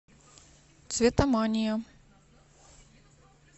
цветомания